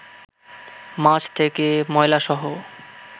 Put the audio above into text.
মাছ থেকে ময়লাসহ